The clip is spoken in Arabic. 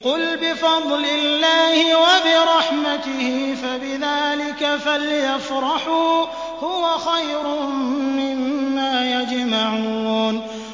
قُلْ بِفَضْلِ اللَّهِ وَبِرَحْمَتِهِ فَبِذَٰلِكَ فَلْيَفْرَحُوا هُوَ خَيْرٌ مِّمَّا يَجْمَعُونَ